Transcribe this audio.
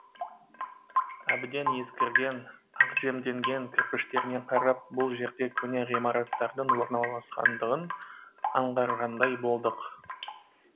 әбден ескірген ақжемденген кірпіштеріне қарап бұл жерде көне ғимараттардың орналасқандығын аңғарғандай болдық